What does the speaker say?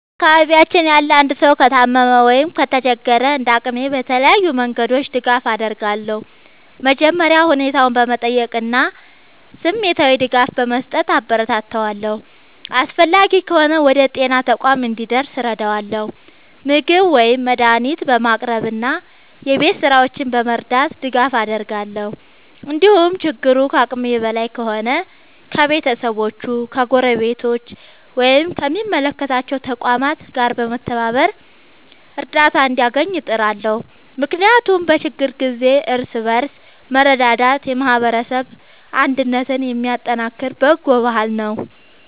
በአካባቢያችን ያለ አንድ ሰው ከታመመ ወይም ከተቸገረ፣ እንደ አቅሜ በተለያዩ መንገዶች ድጋፍ አደርጋለሁ። መጀመሪያ ሁኔታውን በመጠየቅ እና ስሜታዊ ድጋፍ በመስጠት አበረታታዋለሁ። አስፈላጊ ከሆነ ወደ ጤና ተቋም እንዲደርስ እረዳለሁ፣ ምግብ ወይም መድኃኒት በማቅረብ እና የቤት ሥራዎቹን በመርዳት ድጋፍ አደርጋለሁ። እንዲሁም ችግሩ ከአቅሜ በላይ ከሆነ ከቤተሰቦቹ፣ ከጎረቤቶች ወይም ከሚመለከታቸው ተቋማት ጋር በመተባበር እርዳታ እንዲያገኝ እጥራለሁ። ምክንያቱም በችግር ጊዜ እርስ በርስ መረዳዳት የማህበረሰብ አንድነትን የሚያጠናክር በጎ ባህል ነው።